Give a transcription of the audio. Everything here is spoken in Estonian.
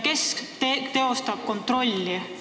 Kes teostab kontrolli?